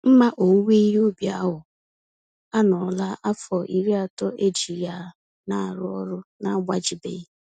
Mma owuwe ihe ubi ahụ anọọla afọ iri atọ eji ya narụ ọrụ na-agbajibeghị.